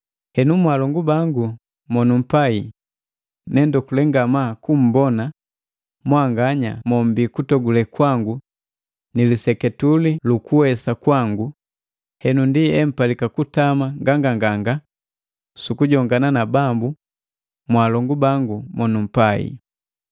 Henu mwaalongu bangu monumpai, ne ndokule ngamaa kumbona, mwanganya mombii kutogule kwangu ni liseketule lu kuwesa kwangu, henu ndi empalika kutama nganganganga sukujongana na Bambu, mwaalongu bangu monumpai.